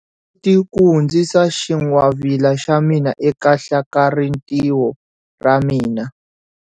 Koti ku hundzisa xingwavila xa mina eka hlakalarintiho ra mina.